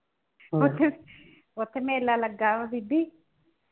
ਉੱਥੇ ਉੱਥੇ ਮੇਲਾ ਲੱਗਾ ਵਾ ਬੀਬੀ।